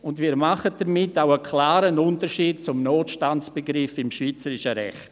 Und wir machen damit auch einen klaren Unterschied zum Notstandsbegriff des schweizerischen Rechts.